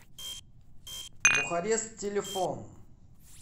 бухарест телефон